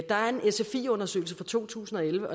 der er en sfi undersøgelse fra to tusind og elleve